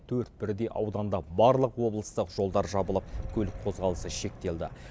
төрт бірдей ауданда барлық облыстық жолдар жабылып көлік қозғалысы шектелді